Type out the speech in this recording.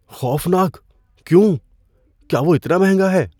خوفناک؟ کیوں؟ کیا وہ اتنا مہنگا ہے؟